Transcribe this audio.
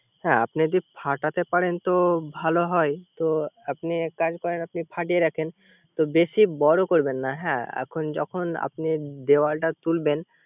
হ্যা আপনি যদি ফাটাতে পারেন তো ভালো হয়। তো আপনি এক কাজ করেন ফাটিয়ে রাখেন। বেশি বর করবেন না হ্যা এখন যখন আপনি দেওয়ালটা তুলবেন